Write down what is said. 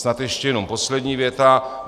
Snad ještě jenom poslední věta.